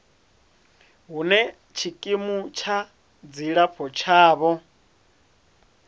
hune tshikimu tsha dzilafho tshavho